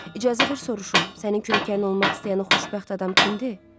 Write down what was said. İcazə ver soruşum, sənin kürəkənin olmaq istəyən o xoşbəxt adam kimdir?